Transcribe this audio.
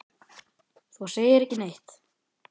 Þú segir ekki neitt.